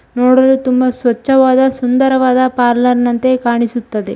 ನೋಡಿ ತುಂಬಾ ಸ್ವಚ್ಛವಾದ ಸುಂದರವಾದ ಪಾರ್ಲರ್ ನಂತೆ ಕಾಣಿಸುತ್ತದೆ.